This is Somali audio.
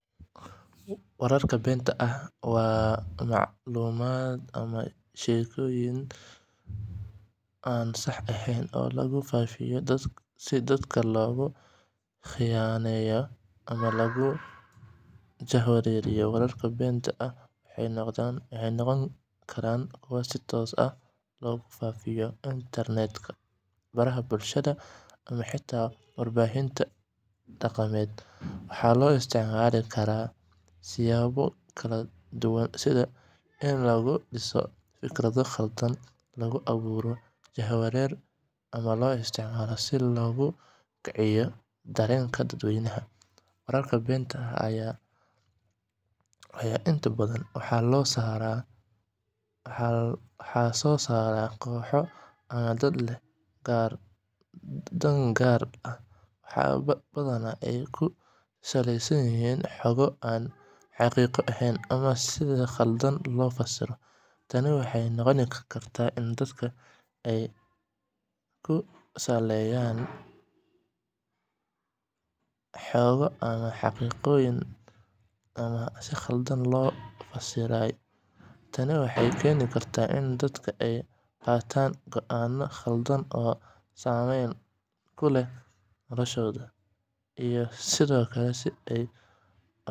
Wararka beenta ah waa macluumaad ama sheekooyin aan sax ahayn oo lagu faafiyo si dadka loogu khiyaaneeyo ama lagu jahwareeriyo. Wararka beenta ah waxay noqon karaan kuwo si toos ah loogu faafiyo internet-ka, baraha bulshada, ama xitaa warbaahinta dhaqameed. Waxaa loo isticmaali karaa siyaabo kala duwan, sida in lagu dhiso fikrado khaldan, lagu abuuro jahwareer, ama loo isticmaalo si loogu kiciyo dareenka dadweynaha. Wararka beenta ah ayaa inta badan waxaa soo saara kooxo ama dad leh dan gaar ah, waxaana badanaa ay ku saleysan yihiin xogo aan xaqiiqo ahayn ama si qaldan loo fasiray. Tani waxay keeni kartaa in dadka ay qaataan go'aano khaldan oo saameyn ku leh noloshooda, iyo sidoo kale in ay abuurto.